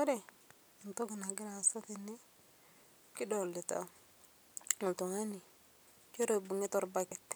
Ore etoki nagira aasa tene. Kidolita oltungani nchere eibungita orbaket.